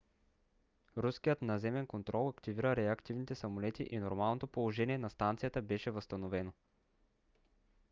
руският наземен контрол активира реактивните самолети и нормалното положение на станцията беше възстановено